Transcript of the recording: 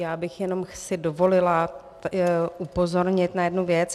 Já bych si jenom dovolila upozornit na jednu věc.